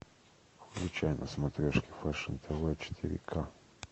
включай на смотрешке фэшн тв четыре ка